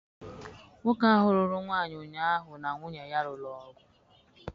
Nwoke ahụ lụrụ nwaanyị ụnyaahụ na nwunye ya lụrụ ọgụ.